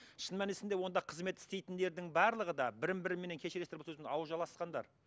шын мәнісінде онда қызмет істейтіндердің барлығы да бірін бірімен кешіресіздер бұл сөздің ауыз жаласқандар